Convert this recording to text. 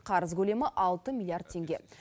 қарыз көлемі алты миллиард теңге